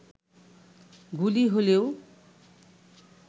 গুলি হলেও